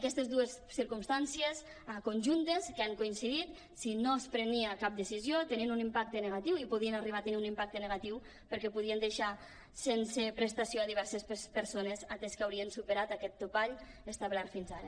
aquestes dues circumstàncies conjuntes que han coincidit si no es prenia cap decisió tenien un impacte negatiu i podien arribar a tenir un impacte negatiu per·què podien deixar sense prestació diverses persones atès que haurien superat aquest topall establert fins ara